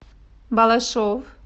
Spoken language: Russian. балашов